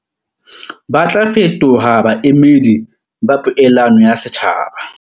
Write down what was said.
Ba tla fetoha baemedi ba poelano ya setjhaba.